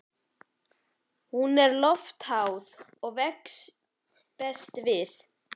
Hún er loftháð og vex best við